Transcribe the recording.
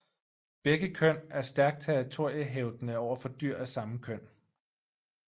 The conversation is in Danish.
Begge køn er stærkt territoriehævdende over for dyr af samme køn